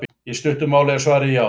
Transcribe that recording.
Í stuttu máli er svarið já.